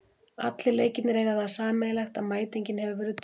Allir leikirnir eiga það sameiginlegt að mætingin hefur verið döpur.